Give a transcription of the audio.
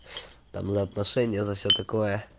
там за отношения за всё такое